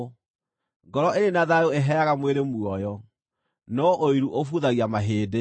Ngoro ĩrĩ na thayũ ĩheaga mwĩrĩ muoyo, no ũiru ũbuthagia mahĩndĩ.